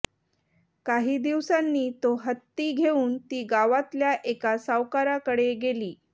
काही दिवसांनी तो हत्ती घेऊन ती गावातल्या एका सावकाराकडे गेली